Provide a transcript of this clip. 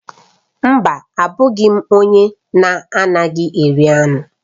Mba, abụghị m onye na-anaghị eri anụ